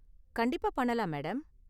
கண்டிப்பா பண்ணலாம் மேடம்.